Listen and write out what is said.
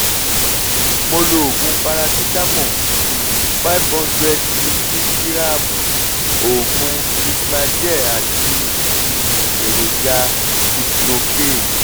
mo lo oògùn parasitamọ́ọ̀ um 500 mìlígíráàmù oògùn cremagel àti um èròjà lignocaine